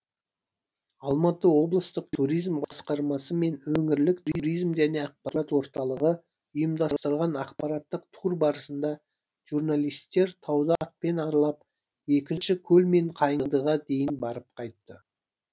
алматы облыстық туризм басқармасы мен өңірлік туризм және ақпарат орталығы ұйымдастырған ақпараттық тур барысында журналистер тауды атпен аралап екінші көл мен қайыңдыға дейін барып қайтты